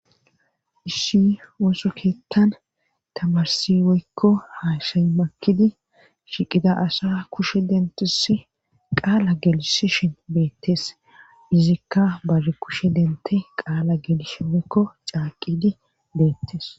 issi osokeettan tamarsi woykko haashay makidi shiqida asa kushe dentusi qaala gelishishin beettes izikka bare kushe dente qaala geelishe woykko caaqidi beettes